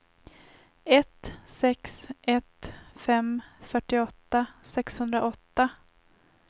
ett sex ett fem fyrtioåtta sexhundraåtta